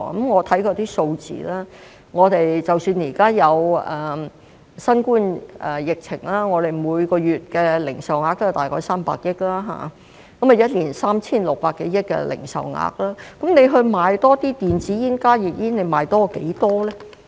我看過相關數字，即使現在有新冠疫情，我們每月的零售額大概也是300億元，一年便是 3,600 多億元，那麼如果說要賣多些電子煙和加熱煙，要多賣多少呢？